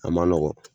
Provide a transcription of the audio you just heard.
A ma nɔgɔn